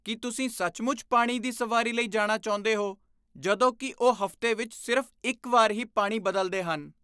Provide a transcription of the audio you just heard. ਕੀ ਤੁਸੀਂ ਸੱਚਮੁੱਚ ਪਾਣੀ ਦੀ ਸਵਾਰੀ ਲਈ ਜਾਣਾ ਚਾਹੁੰਦੇ ਹੋ ਜਦੋਂ ਕਿ ਉਹ ਹਫ਼ਤੇ ਵਿੱਚ ਸਿਰਫ਼ ਇੱਕ ਵਾਰ ਹੀ ਪਾਣੀ ਬਦਲਦੇ ਹਨ?